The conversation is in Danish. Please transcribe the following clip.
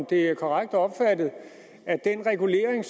det korrekt opfattet at den regulering